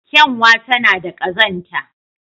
Kyanwa tana da ƙazanta.